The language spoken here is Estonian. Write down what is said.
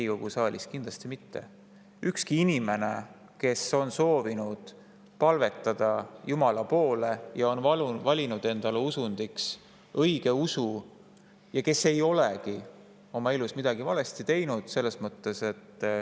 ühtki inimest, kes on soovinud palvetada Jumala poole, on valinud endale usundiks õigeusu ja ei ole oma elus midagi valesti teinud.